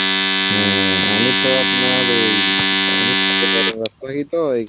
হ্যাঁ আমি তো আপনার এই